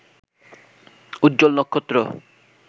উজ্জ্বল নক্ষত্র